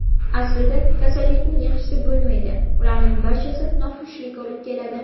Aslida kasallikning yaxshisi bo‘lmaydi, ularning barchasi noxushlik olib keladi.